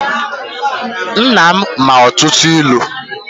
Nna m ma ọtụtụ ilu.